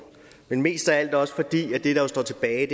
men mest af alt også fordi og det er det der står tilbage